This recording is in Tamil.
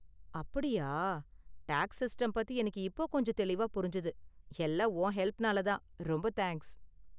அப்படியா, டேக்ஸ் சிஸ்டம் பத்தி எனக்கு இப்போ கொஞ்சம் தெளிவா புரிஞ்சது, எல்லாம் உன் ஹெல்ப்னால தான், ரொம்ப தேங்கஸ்